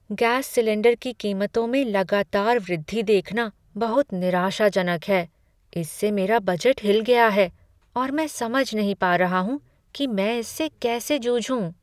Gas cylinder की कीमतों में लगातार वृद्धि देखना बहुत निराशाजनक है। इससे मेरा बजट हिल गया है, और मैं समझ नहीं पा रहा हूँ कि मैं इससे कैसे जूझूं।